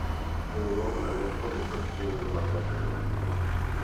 riwruogno ne onge kod chenro maber kata matin